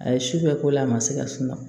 A ye su bɛɛ k'o la a ma se ka sunɔgɔ